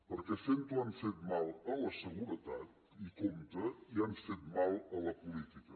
perquè fent ho han fet mal a la seguretat i compte han fet mal a la política